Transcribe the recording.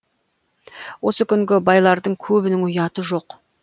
осы күнгі байлардың көбінің ұяты жоқ